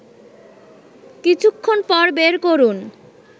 কিছুক্ষণ পর বের করুন